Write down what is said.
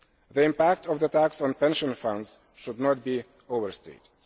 The impact of the tax on pension funds should not be overstated.